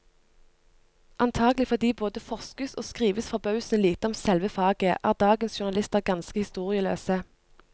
Antagelig fordi det både forskes og skrives forbausende lite om selve faget, er dagens journalister ganske historieløse.